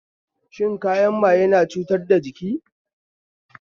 Shan kayan maye na cutar da jiki